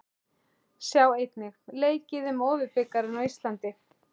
Sjá einnig: Leikið um Ofurbikarinn á Íslandi?